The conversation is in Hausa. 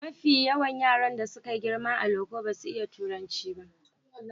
Mafi yawan yaran da suka yi girma a loko basu iya turanci ba.